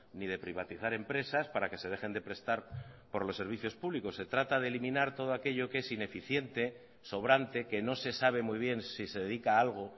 ni de privatizar empresas para que se dejen de prestar por los servicios públicos se trata de eliminar todo aquello que es ineficiente sobrante que no se sabe muy bien si se dedica a algo